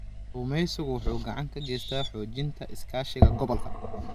Kalluumeysigu wuxuu gacan ka geystaa xoojinta iskaashiga gobolka.